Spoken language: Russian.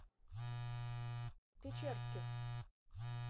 печерских